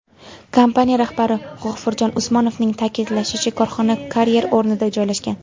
Kompaniya rahbari G‘ofurjon Usmonovning ta’kidlashicha, korxona karyer o‘rnida joylashgan.